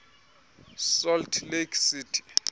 salt lake city